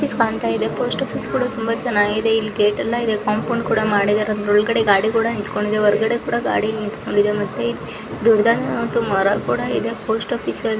post office ಕಾಣ್ತಾ ಇದೆ post office ಕೂಡ ತುಂಬಾ ಚೆನ್ನಾಗಿದೆ ಇಲ್ಲಿ ಗೇಟ್ ಇದೆ ಕಾಂಪೌಂಡ್ ಕೂಡ ಇದೆ ಅದರ ಒಳಗಡೆ ಗಾಡಿ ಕೂಡ ನಿಂತುಕೊಂಡಿದೆ ದೊಡ್ಡದಾದ ಮರ ಕೂಡ ಇದೆ ಪೋಸ್ಟ್ ಆಫೀಸ್ ಅಲ್ಲಿ--